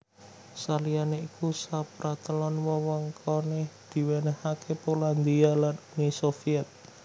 Saliyané iku sapratelon wewengkoné diwènèhaké Polandia lan Uni Sovyèt